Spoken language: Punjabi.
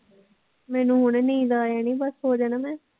ਮੈਨੂੰ ਹੁਣੇ ਨੀਂਦ ਆ ਜਾਣੀ ਬਸ ਸੋ ਜਾਣਾ ਮੈਂ